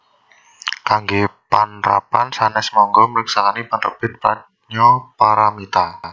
Kanggé panrapan sanès mangga mriksani Penerbit Pradnya Paramita